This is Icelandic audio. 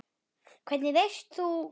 Hvernig veist þú.?